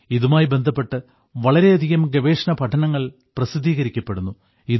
ഇതുമായി ബന്ധപ്പെട്ട് വളരെയധികം ഗവേഷണപഠനങ്ങൾ പ്രസിദ്ധീകരിക്കപ്പെടുന്നു